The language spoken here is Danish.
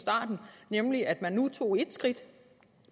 starten nemlig at man nu tog et skridt